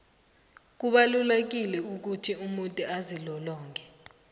kubalulekile ukuthi umuntu azilolonge